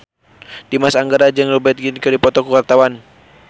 Dimas Anggara jeung Rupert Grin keur dipoto ku wartawan